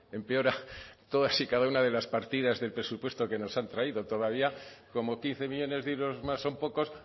empeora todas y cada una de las partidas del presupuesto que nos han traído todavía como quince millónes de euros más son pocos